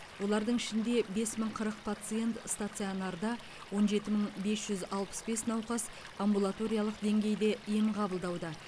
олардың ішінде бес мың қырық пациент стационарда он жеті мың бес жүз алпыс бес науқас амбулаториялық деңгейде ем қабылдауда